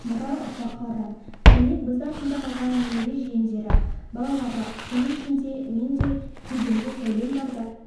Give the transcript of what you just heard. мұра ұрпаққа ұран демек біз артында қалған немере-жиендері балалары соның ішінде мен де кеудемде сәулем барда